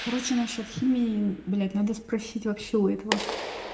короче насчёт химии блять надо спросить вообще у этого